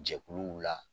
Jɛkuluw la